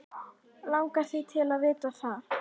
Langar þig til að vita það?